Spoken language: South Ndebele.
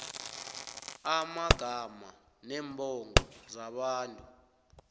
amagama neembongo zabantu